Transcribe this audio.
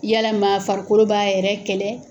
Yalama farikolo b'a yɛrɛ kɛlɛ.